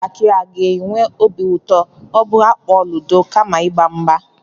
ụmụntakịrị aga-enwe obi ụtọ ma ha kpọọ ludo kama ịgba mgba?